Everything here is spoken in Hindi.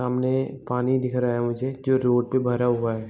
सामने पानी दिख रहा है मुझे जो रोड पे भरा हुआ है।